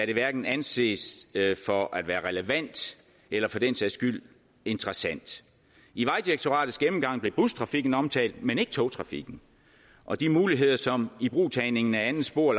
det hverken anses for at være relevant eller for den sags skyld interessant i vejdirektoratets gennemgang blev bustrafikken omtalt men ikke togtrafikken og de muligheder som ibrugtagning af andet spor